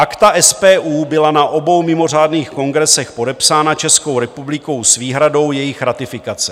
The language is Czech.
Akta SPU byla na obou mimořádných kongresech podepsána Českou republikou s výhradou jejich ratifikace.